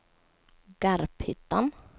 Garphyttan